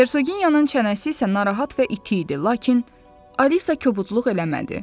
Hersoginyanın çənəsi isə narahat və iti idi, lakin Alisa kobudluq eləmədi.